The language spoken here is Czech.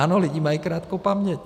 Ano, lidi mají krátkou paměť.